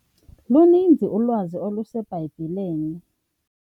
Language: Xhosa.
Luninzi ulwazi oluseBhayibhileni.